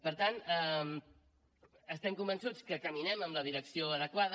per tant estem convençuts que caminem en la direcció adequada